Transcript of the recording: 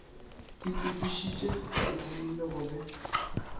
itokišitše ba itlhamile go be